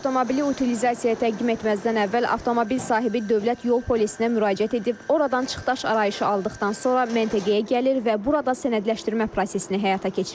Avtomobili utilizasiyaya təqdim etməzdən əvvəl avtomobil sahibi Dövlət Yol Polisinə müraciət edib, oradan çıxdaş arayışı aldıqdan sonra məntəqəyə gəlir və burada sənədləşdirmə prosesini həyata keçirir.